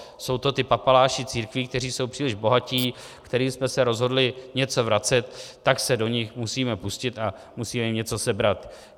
Jsou to ti papaláši církví, kteří jsou příliš bohatí, kterým jsme se rozhodli něco vracet, tak se do nich musíme pustit a musíme jim něco sebrat.